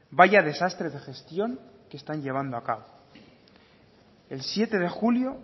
vaya desastre de gestión que están llevando a cabo el siete de julio